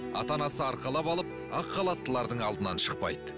ата анасы арқалап алып ақ халаттылардың алдынан шықпайды